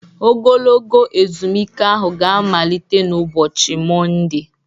Ogologo ezumike ahụ ga-amalite n' ụbọchị Mọnde